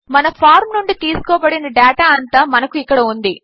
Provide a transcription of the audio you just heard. మనఫార్మ్నుండితీసుకోబడినడేటాఅంతామనకుఇక్కడఉంది